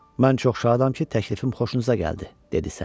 Mən çox şadam ki, təklifim xoşunuza gəldi, dedi Səlim.